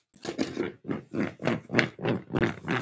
Hversu erfitt er svo námið?